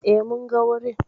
E, mun ga wurin.